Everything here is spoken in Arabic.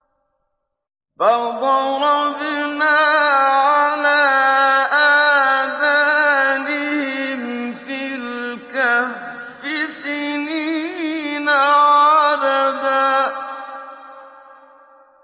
فَضَرَبْنَا عَلَىٰ آذَانِهِمْ فِي الْكَهْفِ سِنِينَ عَدَدًا